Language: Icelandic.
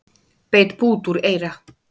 Beit bút úr eyra